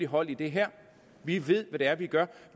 hold i det her vi ved hvad det er vi gør